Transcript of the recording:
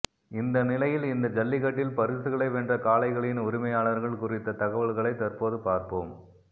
இந்த நிலையில் இந்த ஜல்லிக்கட்டில் பரிசுகளை வென்ற காளைகளின் உரிமையாளர்கள் குறித்த தகவல்களை தற்போது பார்ப்போம்